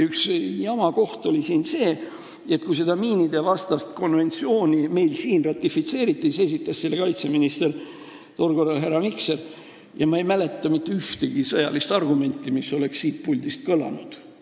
Üks jama koht oli see, et kui meil siin seda miinidevastast konventsiooni ratifitseeriti – tol korral oli kaitseministriks härra Mikser –, siis ma ei mäleta mitte ühtegi sõjalist argumenti, mis oleks siit puldist kõlanud.